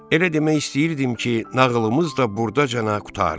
Elə demək istəyirdim ki, nağılımız da burdacana qurtardı.